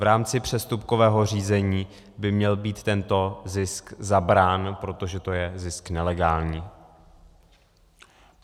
V rámci přestupkového řízení by měl být tento zisk zabrán, protože to je zisk nelegální.